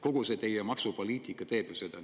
Kogu see teie maksupoliitika teeb ju seda.